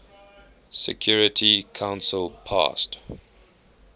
security council passed